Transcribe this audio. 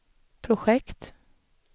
projekt